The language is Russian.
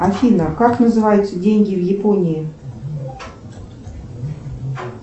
афина как называются деньги в японии